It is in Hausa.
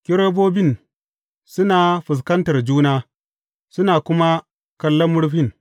Kerubobin suna fuskantar juna, suna kuma kallon murfin.